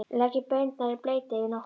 Leggið baunirnar í bleyti yfir nótt.